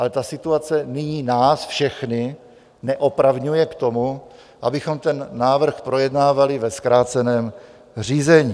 Ale ta situace nyní nás všechny neopravňuje k tomu, abychom ten návrh projednávali ve zkráceném řízení.